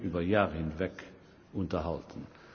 über Jahre hinweg unterhalten.